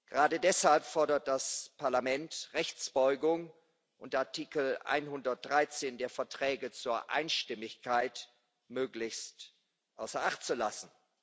Gerade deshalb fordert das Parlament Rechtsbeugung und Artikel 113 der Verträge zur Einstimmigkeit möglichst außer Acht zu lassen.